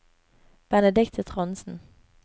Benedicte Trondsen